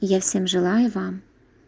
я всем желаю вам